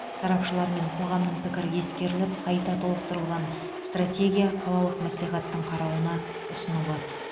сарапшылар мен қоғамның пікірі ескеріліп қайта толықтырылған стратегия қалалық мәслихаттың қарауына ұсынылады